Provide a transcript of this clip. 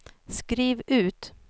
skriv ut